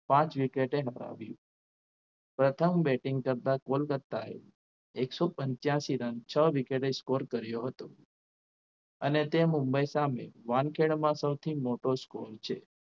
પાંચ wicket એ હરાવી પ્રથમ batting કરતા કોલકત્તા એ એકસો પંચ્યાસી રન છ wicket એ score કર્યો હતો અને તે મુંબઈ સામે વાનખેડામાં સૌથી મોટો score છે.